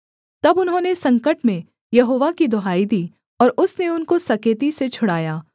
तब उन्होंने संकट में यहोवा की दुहाई दी और उसने उनको सकेती से छुड़ाया